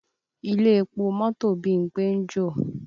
Ilé epo mọ́tò Bímpé ń jò